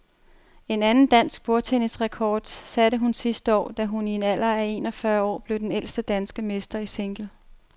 En anden dansk bordtennisrekord satte hun sidste år, da hun i en alder af en og fyrre år blev den ældste danske mester i single.